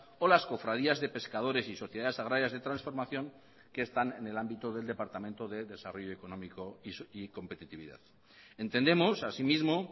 o las cofradías de pescadores y sociedades agrarias de transformación que están en el ámbito del departamento de desarrollo económico y competitividad entendemos así mismo